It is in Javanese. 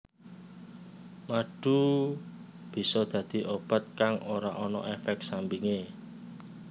Madu bisa dadi obat kang ora ana éfék sampingé